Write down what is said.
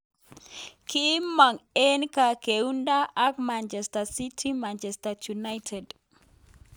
kimong eng kargeindo ak Manchester city, Manchester United.